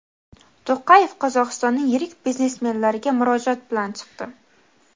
To‘qayev Qozog‘istonning yirik biznesmenlariga murojaat bilan chiqdi.